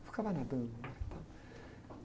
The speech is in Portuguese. Eu ficava nadando lá e tal...